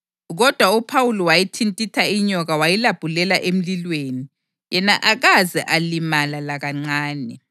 Kodwa uPhawuli wayithintitha inyoka wayilabhulela emlilweni yena akaze alimala lakancane.